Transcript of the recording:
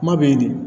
Kuma bɛ yen de